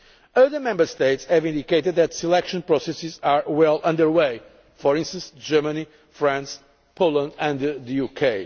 Other Member States have indicated that selection processes are well underway for instance Germany, France, Poland and the UK.